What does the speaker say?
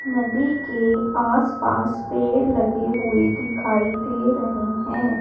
नदी के आसपास पेड़ लगे हुए दिखाई दे रहे है।